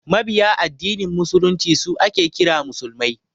Mabiya addinin musulunci su ake kira musulmai